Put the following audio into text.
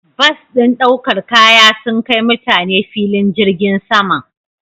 Bas ɗin ɗaukar kaya sun kai mutane filin jirgin saman.